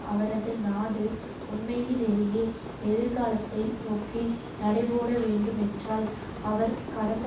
அவரது நாடு உண்மையிலேயே எதிர்காலத்தை நோக்கி நடைபோடவேண்டுமென்றால் அவர் கடந்த